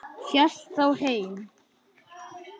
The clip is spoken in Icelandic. Hélt þá heim.